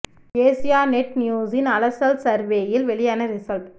Asia net நியூஸின் அலசல் சர்வேயில் வெளியான ரிசல்ட்